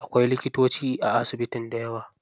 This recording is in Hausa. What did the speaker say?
Akwai likitoci a asibitin dayawa.